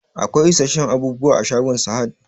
Akwai isasshen abubuwa a shagon Sahad?